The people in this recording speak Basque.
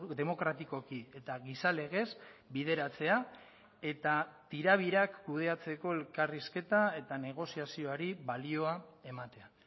demokratikoki eta giza legez bideratzea eta tirabirak kudeatzeko elkarrizketa eta negoziazioari balioa ematea